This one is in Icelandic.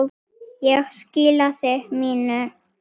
Ég skilaði mínu.